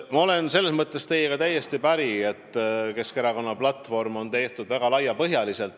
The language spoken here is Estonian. Ma olen selles mõttes teiega täiesti päri, et Keskerakonna platvorm on tehtud väga laiapõhjaline.